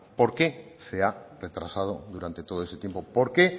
por qué se ha retrasado durante todo ese tiempo por qué